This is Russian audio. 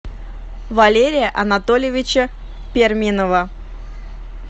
валерия анатольевича перминова